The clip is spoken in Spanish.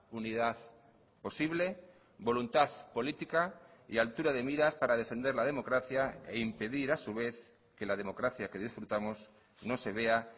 unidad posible voluntad política y altura de miras para defender la democracia e impedir a su vez que la democracia que disfrutamos no se vea